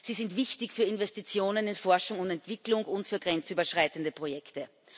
Sie sind wichtig für Investitionen in Forschung und Entwicklung und für grenzüberschreitende Projekte.